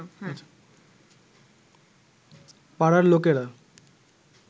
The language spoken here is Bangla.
পাড়ার লোকেরা